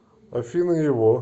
афина его